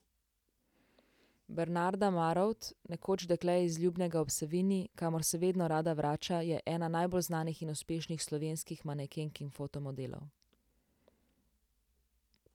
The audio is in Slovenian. Bernarda Marovt, nekoč dekle z Ljubnega ob Savinji, kamor se vedno rada vrača, je ena najbolj znanih in uspešnih slovenskih manekenk in fotomodelov.